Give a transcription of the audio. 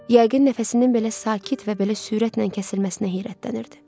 Yəqin nəfəsinin belə sakit və belə sürətlə kəsilməsinə heyrətlənirdi.